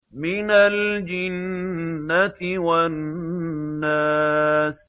مِنَ الْجِنَّةِ وَالنَّاسِ